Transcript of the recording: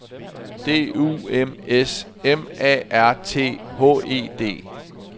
D U M S M A R T H E D